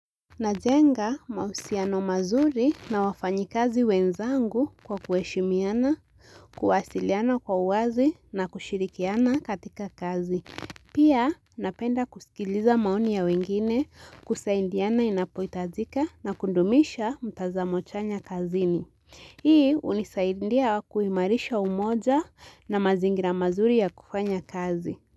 Najenga mahusiano mazuri na wafanyikazi wenzangu kwa kuheshimiana, kuwasiliana kwa uwazi na kushirikiana katika kazi. Pia napenda kusikiliza maoni ya wengine kusaidiana inapohitajika na kudumisha mtazamo chanya kazini. Hii hunisaidia kuimarisha umoja na mazingira mazuri ya kufanya kazi.